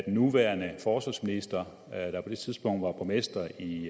nuværende forsvarsminister der på det tidspunkt var borgmester i